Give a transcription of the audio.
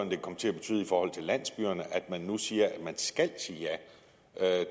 vil komme til at betyde i forhold til landsbyerne at man nu siger at de skal sige at